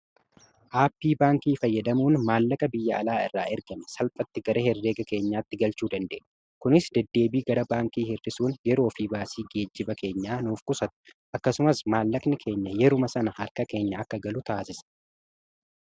Appii baankii fayyadamuun maallaqa biyya alaa irraa ergame salphatti gara herreega keenyaatti galchuu danda'ama. Kunis deddeebii gara baankii hirrisuun yeroo fi baasii geejjiba keenyaa nuuf qusatu akkasumas maallaqni keenya yeruma sana harka keenya akka galu taasisa.